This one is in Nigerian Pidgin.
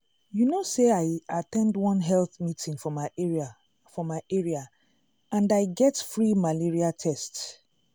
you know say i at ten d one health meeting for my area for my area and i get free malaria test.